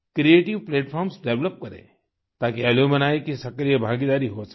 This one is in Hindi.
क्रिएटिव प्लेटफार्म्स डेवलप करें ताकि अलुम्नी की सक्रिय भागीदारी हो सके